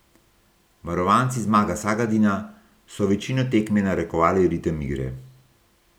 Varovanci Zmaga Sagadina so večino tekme narekovali ritem igre.